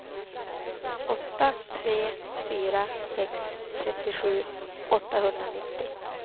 åtta tre fyra sex trettiosju åttahundranittio